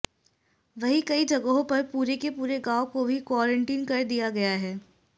वही कई जगहों पर पूरे के पूरे गांव को भी क्वारंटीन कर दिया गया है